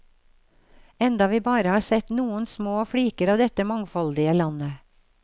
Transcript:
Enda vi bare har sett noen små fliker av dette mangfoldige landet.